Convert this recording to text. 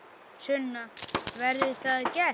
Sunna: Verður það gert?